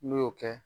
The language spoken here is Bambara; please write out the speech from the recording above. N'o kɛ